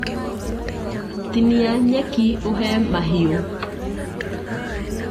Tinia nyeki ũhe mahiũ.